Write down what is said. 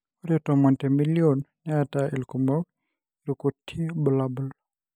ore tomon temilion neeta ilkumok ilkutii bulabul.